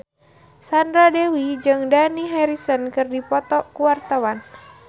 Sandra Dewi jeung Dani Harrison keur dipoto ku wartawan